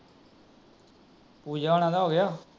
ਪੂਜਾ ਹੋਣਾ ਦਾ ਹੋ ਗਿਆ